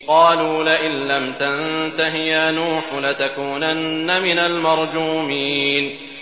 قَالُوا لَئِن لَّمْ تَنتَهِ يَا نُوحُ لَتَكُونَنَّ مِنَ الْمَرْجُومِينَ